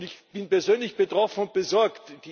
Ich bin persönlich betroffen und besorgt.